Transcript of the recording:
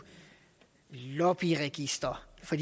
lobbyregister for